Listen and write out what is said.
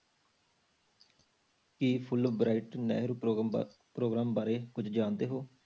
ਕੀ fulbright Nehru ਪ੍ਰੋਗਰਾਮਾਂ programme ਬਾਰੇ ਕੁੱਝ ਜਾਣਦੇ ਹੋ?